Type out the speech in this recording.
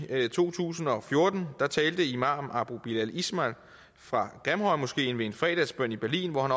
to tusind og fjorten talte imam abu bilal ismail fra grimhøjmoskeen ved en fredagsbøn i berlin hvor han